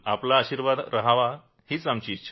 आपला आशीर्वाद रहावा हीच आमची इच्छा आहे